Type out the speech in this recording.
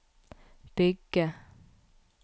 bygge